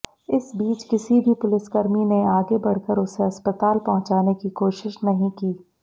इस बीच किसी भी पुलिसकर्मी ने आगे बढ़कर उसे अस्पताल पहुंचाने की कोशिश नहीं की